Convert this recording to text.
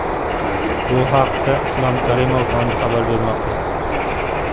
Bu haqda Islom Karimov fondi xabar bermoqda.